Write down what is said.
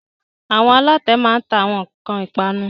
Àwọn alatẹ máa ń ta àwọn ìpanu